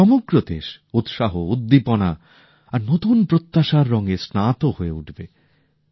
সমগ্রদেশ উৎসাহ উদ্দীপনা আর নতুন প্রত্যাশার রঙে স্নাত হয়ে উঠবে